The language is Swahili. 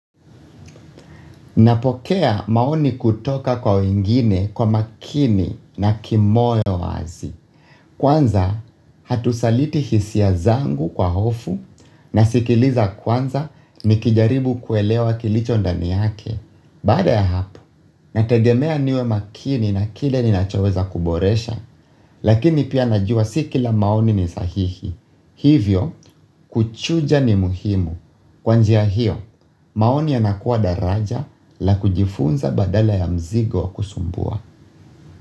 Napokea maoni kutoka kwa wengine kwa makini na kimoyo wazi. Kwanza hatusaliti hisia zangu kwa hofu na sikiliza kwanza nikijaribu kuelewa kilicho ndani yake. Baada ya hapo, nategemea niwe makini na kile ninachoweza kuboresha, lakini pia najua si kila maoni ni sahihi. Hivyo, kuchuja ni muhimu. Kwa njia hiyo, maoni yanakuwa daraja la kujifunza badala ya mzigo kusumbua.